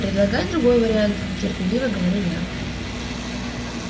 предлагай другой вариант терпеливо говорю я